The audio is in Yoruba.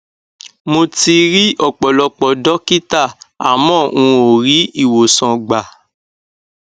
mo ti ri ọpọlọpọ dọkítà àmọ n ò rí ìwòsàn gbà